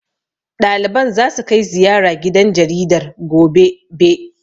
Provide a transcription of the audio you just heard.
Ɗaliban zasu kai ziyara gidan jaridar, gobe. be